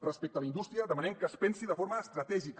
respecte a la indústria demanem que es pensi de forma estratègica